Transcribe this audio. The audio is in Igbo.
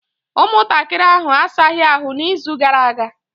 Ụmụntakịrị ahụ asaghị ahụ n'izu gara aga.